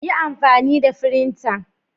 Yi amfani da firinta.